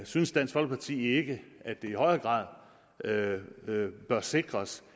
synes dansk folkeparti ikke at det i højere grad bør sikres